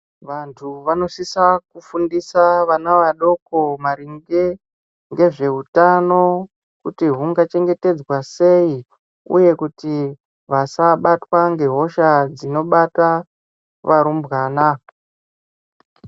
Vantu vanosisa kufundisa vana vadoko maringe, ngezveutano, kuti hungachengetedzwa sei, uye kuti vasabatwa ngehosha, dzinobata varumbwana.